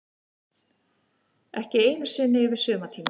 Ekki einu sinni yfir sumartímann.